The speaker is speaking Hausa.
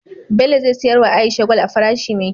Bello ze siyar wa aisha gwal a farashi me kyau